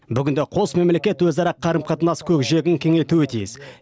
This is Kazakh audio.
бүгінде қос мемлекет өзара қарым қатынас көкжиегін кеңейтуі тиіс